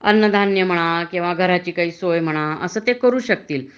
अन्न धान्य म्हणा घराची काही सोय म्हणा अस ते करू शकतील